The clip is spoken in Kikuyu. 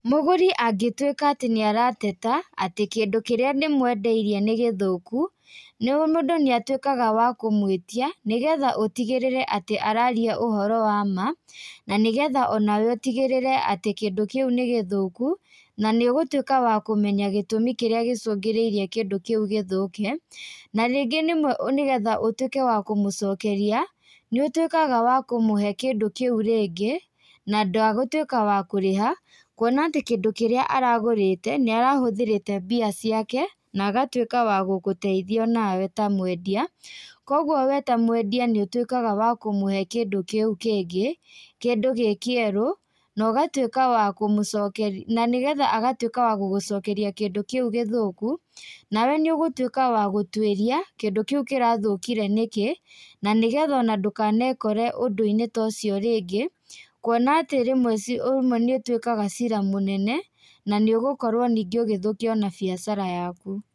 Mũgũri angĩtwĩka atĩ nĩarateta, atĩ kĩndũ kĩrĩa ndĩmwendeirie nĩ gĩthũku, nĩ, mũndũ nĩatwĩkaga wa kũmwĩtia, nĩgetha ũtigĩrĩre atĩ araria ũhoro wa maa, na nĩgetha onawe ũtigĩrĩre atĩ kĩndũ kĩu nĩ gĩthũku, na nĩ ũgũtuĩka wa kũmenya gĩtũmi kĩrĩa gĩcungĩrĩirie kĩndũ gĩthũke, na rĩngĩ rĩmwe nĩgetha ũtwĩke wa kũmũcokeria, nĩũtwĩkaga wa kũmũhe kĩndũ kĩu rĩngĩ, na ndagũtwĩka wa kũrĩha, kuona atĩ kĩndũ kĩrĩa aragũrĩte, nĩarahũthĩrĩte mbia ciake, na agatuĩka wa gũgũteithia onawe ta mwendia, koguo we ta mwendia nĩũtuĩkaga wa kũmũhe kĩndũ kĩu kĩngĩ, kĩndũ gĩ kĩerũ, nogatuĩka wa kũmũco nanĩgetha agatwĩka wa gũgũcokeia kĩndũ kĩũ gĩthũku, nawe nĩũgũtuĩka wa gũtuĩria, kĩndũ kĩu kĩrathũkire nĩkĩ, nanĩgetha ona ndũkanekore ũndũ-inĩ ta ũcio rĩngĩ, kuona atĩ rĩmwe ci, ũmwe nĩũtuĩkaga cira mũnene, nanĩũgũkorwo ningĩ ona ũgĩthũkia ona biacara yaku.